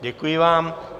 Děkuji vám.